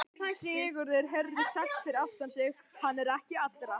Sigurður heyrði sagt fyrir aftan sig:-Hann er ekki allra.